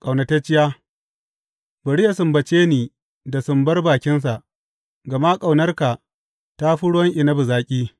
Ƙaunatacciya Bari yă sumbace ni da sumbar bakinsa, gama ƙaunarka ta fi ruwan inabi zaƙi.